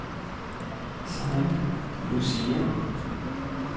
Saint Lucia